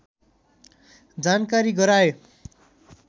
जानकारी गराए